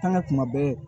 An ka kuma bɛɛ